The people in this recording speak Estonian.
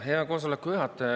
Hea koosoleku juhataja!